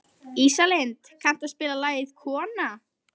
Ísalind, kanntu að spila lagið „Kona“?